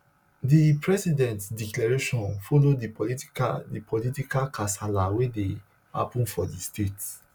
di president declaration follow di political di political kasala wey dey happun for di state